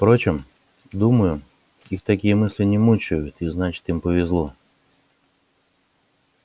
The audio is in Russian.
впрочем думаю что их такие мысли не мучают и значит им повезло